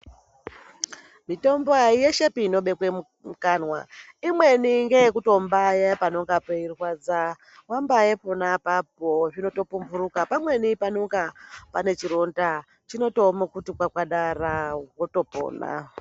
Mitombo aiyeshepi inobekwa mumukanwa imweni ndeyekutombaya panenge peirwadza. Wambaye pona apapo zvinotooumburuka pamweni panonga pane chironda chinotooma kuti kwakadara wotopona.